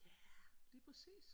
Ja lige præcis